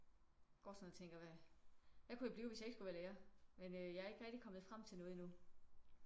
Går sådan og tænker hvad hvad kunne jeg blive hvis jeg ikke skulle være lærer? Men øh jeg er ikke rigtig kommet frem til noget endnu